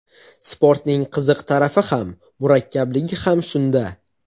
Sportning qiziq tarafi ham, murakkabligi ham shunda.